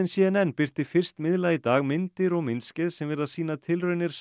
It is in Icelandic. c n n birti fyrst miðla í dag myndir og myndskeið sem virðast sýna tilraunir